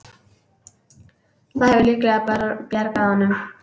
Það hefur líklega bjargað honum.